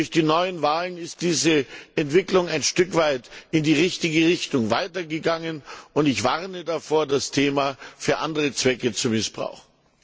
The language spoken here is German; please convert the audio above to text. Durch die neuen Wahlen ist diese Entwicklung ein Stück weit in die richtige Richtung weitergegangen. Ich warne davor, das Thema für andere Zwecke zu missbrauchen.